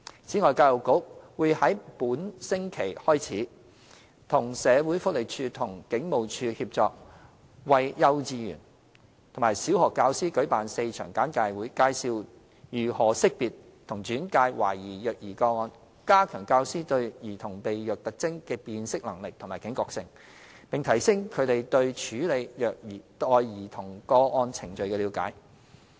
此外，教育局會在本星期開始，與社署和警務處協作，為幼稚園和小學教師舉辦4場簡介會，介紹如何識別和轉介懷疑虐兒個案，加強教師對兒童被虐特徵的辨識能力及警覺性，並提升他們對處理虐待兒童個案程序的了解。